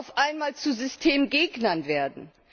auf einmal zu Systemgegnern werden?